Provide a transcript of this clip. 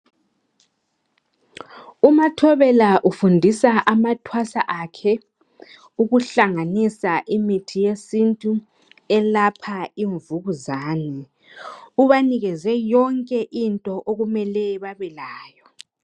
UMathobela ufundisa amathwasa akhe ukuhlanganisa imithi yesintu, elapha imvukuzane. Ubanikeze yonke into okumele, babelayo.